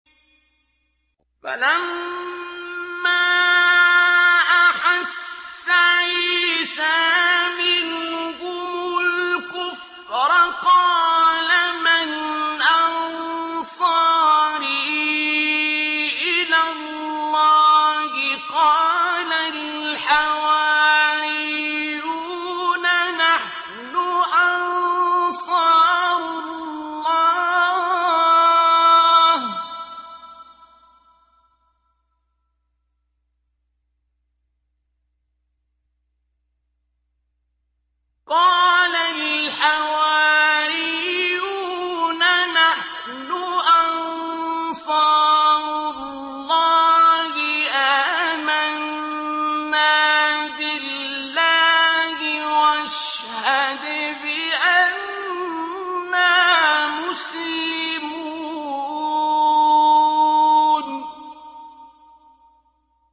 ۞ فَلَمَّا أَحَسَّ عِيسَىٰ مِنْهُمُ الْكُفْرَ قَالَ مَنْ أَنصَارِي إِلَى اللَّهِ ۖ قَالَ الْحَوَارِيُّونَ نَحْنُ أَنصَارُ اللَّهِ آمَنَّا بِاللَّهِ وَاشْهَدْ بِأَنَّا مُسْلِمُونَ